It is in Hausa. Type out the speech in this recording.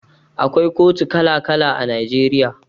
Akwai kotu kala kala a Najeriya